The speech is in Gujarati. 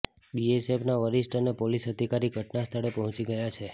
બીએસએફના વરિષ્ઠ અને પોલિસ અધિકારી ઘટના સ્થળે પહોંચી ગયા છે